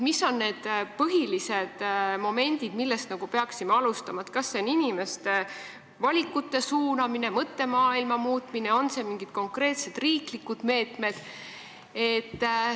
Mis on need põhilised momendid, millest me alustama peaksime: kas inimeste valikute suunamisest ja mõttemaailma muutmisest või mingitest konkreetsetest riiklikest meetmetest?